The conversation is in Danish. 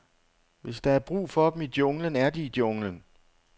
Hvis der er brug for dem i junglen, er de i junglen.